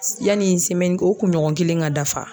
Yani o kunɲɔgɔn kelen ka dafa.